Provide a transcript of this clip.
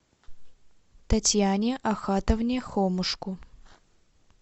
татьяне ахатовне хомушку